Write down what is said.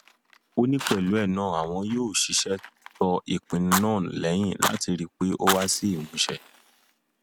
ó ní pẹlú ẹ náà àwọn yóò ṣiṣẹ tó ìpinnu náà lẹyìn láti rí i pé ó wá sí ìmúṣẹ